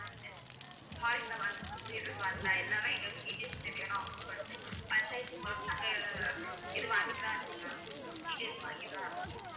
எல்லாமே எங்களுக்கு details தெரியணும் அப்படின்னு சொல்லிட்டு பஞ்சாயத்து மூலமா நாங்க இது வாங்கிட்டுதான் இருக்கோம் ma'am details வாங்கிட்டுதான் இருக்கோம்